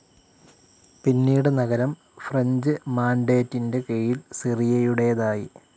പിന്നീട് നഗരം ഫ്രഞ്ച്‌ മാൻഡേറ്റിൻ്റെ കീഴിൽ സിറിയയുടേതായി.